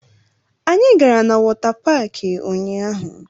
Anyị gara na wọta paakị ụnyaahụ